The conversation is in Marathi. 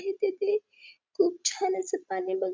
तेथे खूप छान असं पाणी ब --